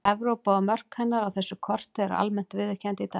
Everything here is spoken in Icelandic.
Evrópa og mörk hennar á þessu korti eru almennt viðurkennd í dag.